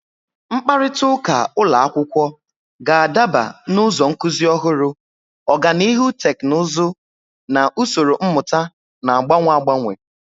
Mkparịta ụka ụlọ akwụkwọ ga-adaba na ụzọ nkuzi ọhụrụ, ọganihu teknụzụ, na usoro mmụta na-agbanwe agbanwe